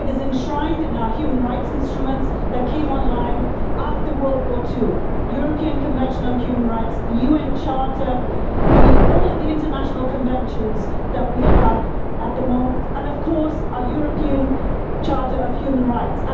It is enshrined in our human rights instruments that came on line after the Second World War the European Convention on Human Rights, the UN Charter, all of the international conventions that we have at the moment, and our European Charter of Human Rights.